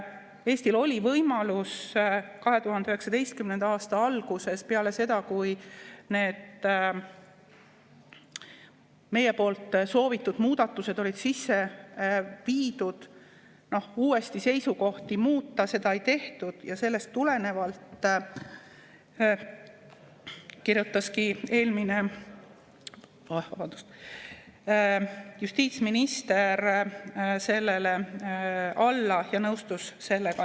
Eestil oli võimalus 2019. aasta alguses, peale seda, kui need meie soovitud muudatused olid sisse viidud, uuesti seisukohti muuta, aga seda ei tehtud ja sellest tulenevalt kirjutaski eelmine justiitsminister sellele alla ja nõustus sellega.